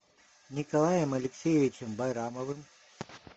николаем алексеевичем байрамовым